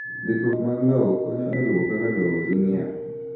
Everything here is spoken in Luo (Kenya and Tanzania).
Ndikruok mar lowo konyo e luwo kaka lowo ing'iewo.